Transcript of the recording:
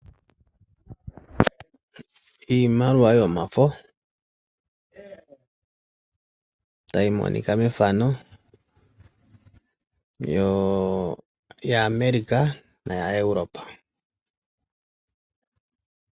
Iimaliwa yomafo tayi monika mefano, yaAmerika no yaEuropa.